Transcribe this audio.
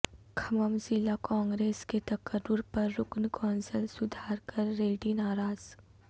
کھمم ضلع کانگریس کے تقرر پر رکن کونسل سدھاکر ریڈی ناراض